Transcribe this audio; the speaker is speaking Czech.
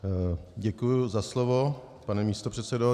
Děkuju za slovo, pane místopředsedo.